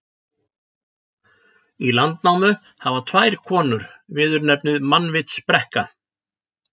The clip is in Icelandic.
Í Landnámu hafa tvær konur viðurnefnið mannvitsbrekka.